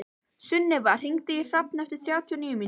Sunneva, hringdu í Hrafn eftir þrjátíu og níu mínútur.